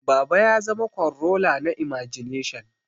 Baba ya zama kwanrola na imagination